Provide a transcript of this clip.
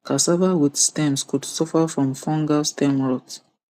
cassava with stems could suffer from fungal stem rot